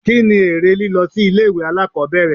Kí ni èrè lílọ sí ilé ìwé alákòbẹ̀rẹ̀?